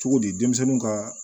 Cogo di denmisɛnninw ka